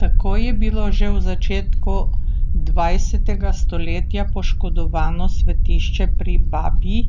Tako je bilo že v začetku dvajsetega stoletja poškodovano svetišče pri Babji